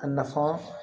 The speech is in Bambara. A nafa